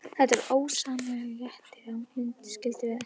Það var ósegjanlegur léttir að hún skyldi vera heima.